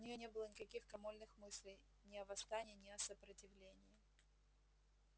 у неё не было никаких крамольных мыслей ни о восстании ни о сопротивлении